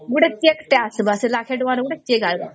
ଗୋଟେ cheque ଟେ ଆସିବା ସେ ଲକ୍ଷେ ତାଙ୍କର ଗୋଟେ cheque ଆଇବ